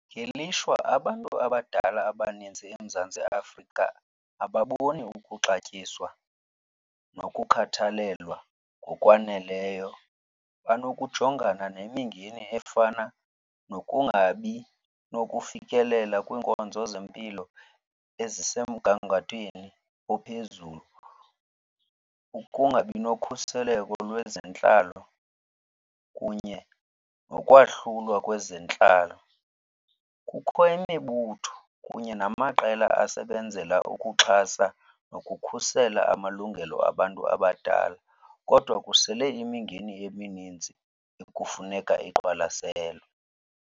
Ngelishwa abantu abadala abaninzi eMzantsi Afrika ababoni ukuxatyiswa nokukhathalelwa ngokwaneleyo. Banokujongana nemingeni efana nokungabi nokufikelela kwiinkonzo zempilo ezisemgangathweni ophezulu, ukungabi nokhuseleko lwezentlalo kunye nokwahlulwa kwezentlalo. Kukho imibutho kunye namaqela asebenzela ukuxhasa nokukhusela amalungelo abantu abadala kodwa kusele imingeni emininzi ekufuneka iqwalaselwe.